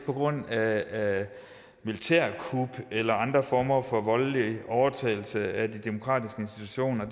på grund af militærkup eller andre former for voldelig overtagelse af de demokratiske institutioner